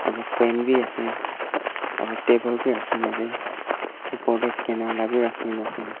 aru fan bi ase aru table bi rakhi ne ase oper te scanner la bi rakhi ne ase.